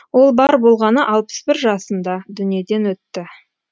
ол бар болғаны алпыс бір жасында дүниеден өтті